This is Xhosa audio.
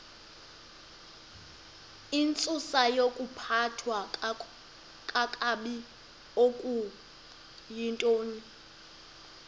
intsusayokuphathwa kakabi okuyintoni